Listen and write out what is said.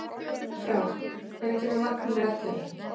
Frár, hvenær kemur vagn númer ellefu?